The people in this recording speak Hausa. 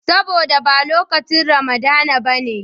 Saboda ba lokacin Ramadana ba ne.